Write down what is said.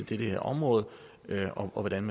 det her område og hvordan